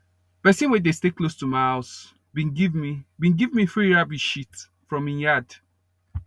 pesin wey dey stay close to my house bin give me bin give me free rabbit shit from him yard